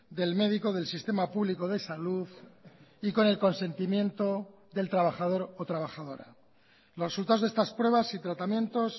del médico del sistema público de salud y con el consentimiento del trabajador o trabajadora los resultados de estas pruebas y tratamientos